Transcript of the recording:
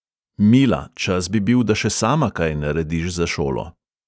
Mila, čas bi bil, da še sama kaj narediš za šolo.